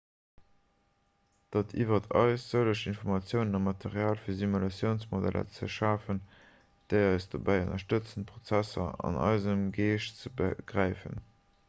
dat liwwert eis sëlleg informatiounen a material fir simulatiounsmodeller ze schafen déi eis dobäi ënnerstëtzen prozesser an eisem geescht ze begräifen